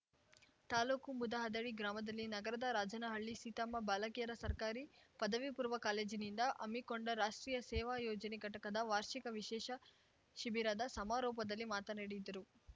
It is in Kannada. ತಾಲೂಕು ಮುದಹದಡಿ ಗ್ರಾಮದಲ್ಲಿ ನಗರದ ರಾಜನಹಳ್ಳಿ ಸೀತಮ್ಮ ಬಾಲಕಿಯರ ಸರ್ಕಾರಿ ಪದವಿ ಪೂರ್ವ ಕಾಲೇಜಿನಿಂದ ಹಮ್ಮಿಕೊಂಡ ರಾಷ್ಟ್ರೀಯ ಸೇವಾ ಯೋಜನೆ ಘಟಕದ ವಾರ್ಷಿಕ ವಿಶೇಷ ಶಿಬಿರದ ಸಮಾರೋಪದಲ್ಲಿ ಮಾತನಾಡಿದರು